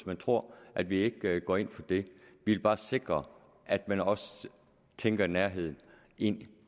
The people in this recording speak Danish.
man tror at vi ikke går ind for det vi vil bare sikre at man også tænker nærhed ind